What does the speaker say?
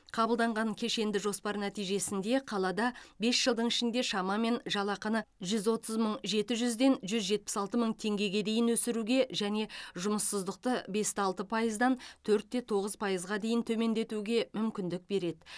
қабылданған кешенді жоспар нәтижесінде қалада бес жылдың ішінде шамамен жалақыны жүз отыз мың жеті жүзден жүз жетпіс алты мың теңгеге дейін өсіруге және жұмыссыздықты бесте алты пайыздан төртте тоғыз пайызға дейін төмендетуге мүмкіндік береді